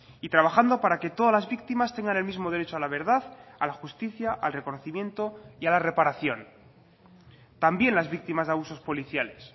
y trabajando para que todas las víctimas tengan el mismo derecho a la verdad a la justicia al reconocimiento y a la reparación también las víctimas de abusos policiales